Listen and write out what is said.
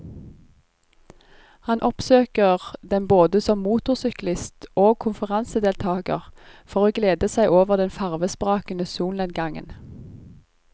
Han oppsøker den både som motorsyklist og konferansedeltager for å glede seg over den farvesprakende solnedgangen.